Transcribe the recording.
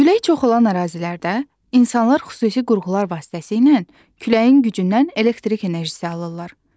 Külək çox olan ərazilərdə insanlar xüsusi qurğular vasitəsilə küləyin gücündən elektrik enerjisi alırlar.